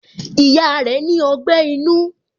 Ìyá rẹ ni ogbẹ́ inú